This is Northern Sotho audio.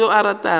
ga go yo a ratago